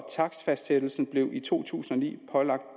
takstfastsættelse blev i to tusind og ni pålagt